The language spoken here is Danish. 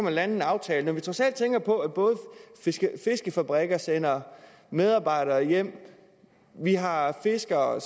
lande en aftale vi må trods alt tænke på at fiskefabrikker sender medarbejdere hjem og at vi har fiskere